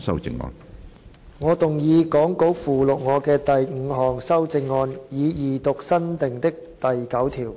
主席，我動議講稿附錄我的第五項修正案，以二讀新訂的第9條。